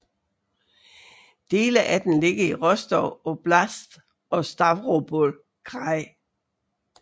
Dele af den ligger i Rostov oblast og Stavropol kraj